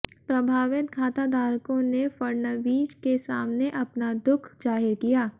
प्रभावित खाताधारकों ने फडणवीस के सामने अपना दुख जाहिर किया